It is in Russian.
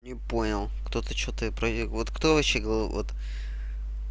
не понял кто-то что-то я вот кто вообще вот